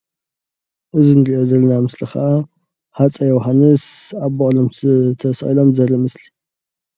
እዚ እንሪኦ ዘለና ምስሊ ከዓ ሃፀይ ዮውሃንስ ኣብ በቅሎም ተሲቂሎም ዘርኢ ምስሊ እዩ፡፡